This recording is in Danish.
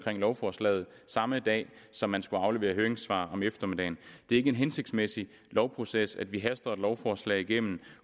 lovforslaget samme dag som man skulle aflevere høringssvar om eftermiddagen det er ikke en hensigtsmæssig lovproces at vi haster et lovforslag igennem